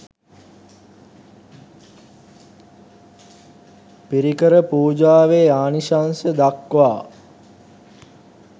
පිරිකර පූජාවේ ආනිශංස දක්වා